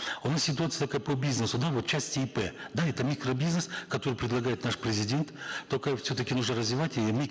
у нас ситуация такая по бизнесу да вот в части ип да это микро бизнес который предлагает наш президент токаев все таки нужно развивать и